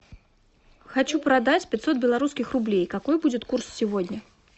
хочу продать пятьсот белорусских рублей какой будет курс сегодня